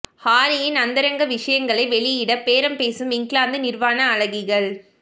ஹாரியின் அந்தரங்க விஷயங்களை வெளியிட பேரம் பேசும் இங்கிலாந்து நிர்வாண அழகிகள்